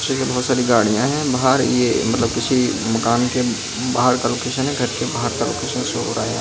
ये बहोत सारी गाड़ियां है बाहर ये मतलब किसी मकान के बाहर का लोकेशन है घर के बाहर का लोकेशन शो हो रहा है।